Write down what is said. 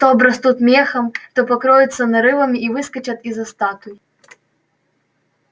то обрастут мехом то покроются нарывами и выскочат из-за статуй